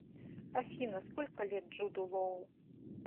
афина сколько лет джуду лоу